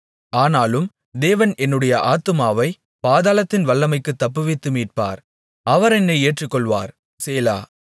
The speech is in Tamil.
ஆனாலும் தேவன் என்னுடைய ஆத்துமாவைப் பாதாளத்தின் வல்லமைக்குத் தப்புவித்து மீட்பார் அவர் என்னை ஏற்றுக்கொள்வார் சேலா